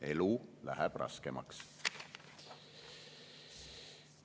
Elu läheb raskemaks.